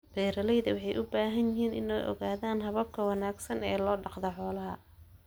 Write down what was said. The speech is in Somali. Beeralayda waxay u baahan yihiin inay ogaadaan hababka ugu wanaagsan ee loo dhaqo xoolaha.